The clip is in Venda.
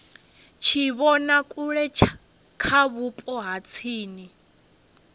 tshivhonakule kha vhupo ha tsini